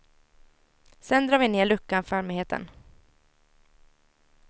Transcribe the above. Sedan drar vi ner luckan för allmänheten.